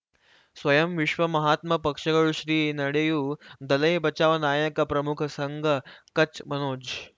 ಸ್ವಯಂ ವಿಶ್ವ ಮಹಾತ್ಮ ಪಕ್ಷಗಳು ಶ್ರೀ ನಡೆಯೂ ದಲೈ ಬಚೌ ನಾಯಕ ಪ್ರಮುಖ ಸಂಘ ಕಚ್ ಮನೋಜ್